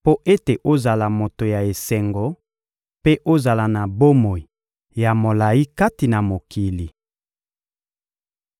mpo ete ozala moto ya esengo mpe ozala na bomoi ya molayi kati na mokili.